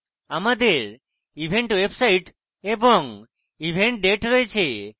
আমাদের event website এবং event date রয়েছে